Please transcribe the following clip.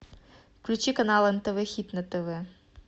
включи канал нтв хит на тв